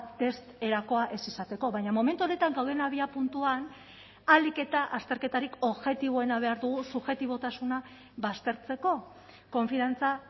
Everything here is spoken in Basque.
test erakoa ez izateko baina momentu honetan gauden abiapuntuan ahalik eta azterketarik objektiboena behar dugu subjektibotasuna baztertzeko konfiantza